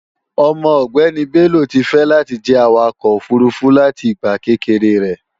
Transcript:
Ọmọ ọgbéni Bello ti fẹ́ láti jẹ́ Awakọ̀ òfurufú láti ìgbà kékeré rẹ̀